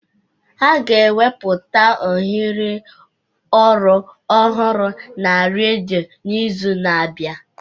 A ga-ekwupụta ohere ọrụ ọhụrụ na redio n'izu na-abịa